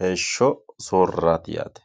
heesho sootirarati yaate.